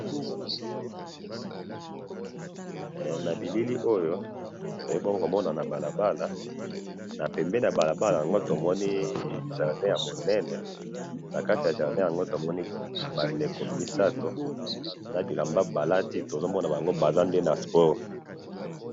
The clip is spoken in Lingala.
na bilili oyo bongo na balabala na pembeni ya balabala nde to moni jardin ya monene na kati ya jardin nango to moni bandeko misatu na bilamba ba lati to mona bango baza nde sport